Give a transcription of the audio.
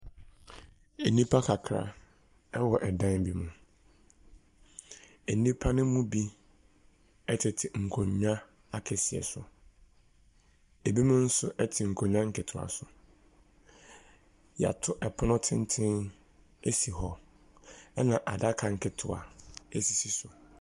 Ɛnipa kakra ɛwɔ dan bi mu. Ɛnipa ne mu bi ɛtete nkonnwa akɛseɛ so. Ɛbi mo nso ɛte nkonnwa nketewa so. Y'ato ɛpono tenten asi hɔ ɛna adaka nketewa ɛsisi so.